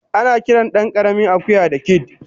Anakiran dankaramin akuya da "kid"